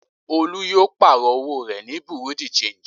Olú yóò pààrọ̀ owó rẹ̀ ní bureau de change.